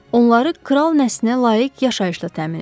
Onları kral nəslinə layiq yaşayışla təmin edin.